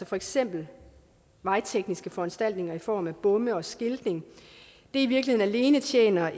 for eksempel vejtekniske foranstaltninger i form af bomme og skiltning i virkeligheden alene tjener